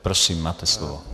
Prosím, máte slovo.